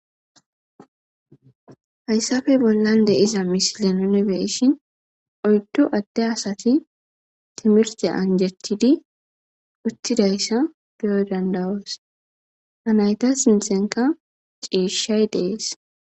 hayssafe bollan de'iza misile nuni be'ishin oyddu adde asati timirte anjetidi uttidayssa beyo dandawoos ha nayta sinthenka ciishshay de'es